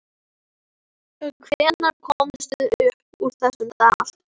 En hvenær komumst við upp úr þessum dal?